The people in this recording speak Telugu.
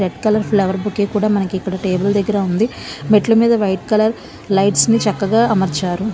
రెడ్ కలర్ ఫ్లవర్ బొకే కూడ మనకి ఇక్కడ టేబుల్ దగ్గర ఉంది మెట్ల మీద వైట్ కలర్ లైట్స్ ని చక్కగా అమర్చారు.